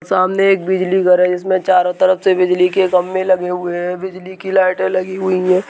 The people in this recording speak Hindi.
सामने एक बिजली घर है जिसमें चारों तरफ से बिजली के खम्भे लगे हुए हैं बिजली की लाइटें लगी हुई हैं।